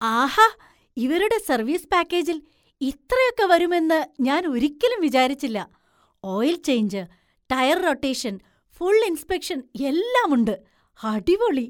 ആഹാ! ഇവരുടെ സർവീസ് പാക്കേജിൽ ഇത്രയൊക്കെ വരും എന്ന് ഞാൻ ഒരിക്കലും വിചാരിച്ചില്ല. Oil change, tyre rotation, full inspection എല്ലാം ഉണ്ട്! അടിപൊളി!